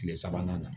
Tile sabanan na